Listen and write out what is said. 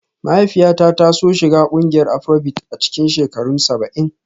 Mahaifiyata ta so shiga ƙungiyar Afrobeat a cikin shekarun saba'in